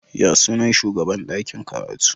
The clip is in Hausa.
Ya sunan shugaban dakin karatu?